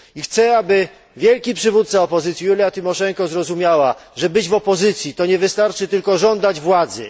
Chcę, aby wielki przywódca opozycji Julia Tymoszenko zrozumiała, że będąc w opozycji, nie wystarczy tylko żądać władzy.